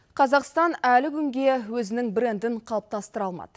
қазақстан әлі күнге өзінің брендін қалыптастыра алмады